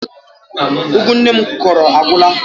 Ụgụ nne m kụrụ agwụla.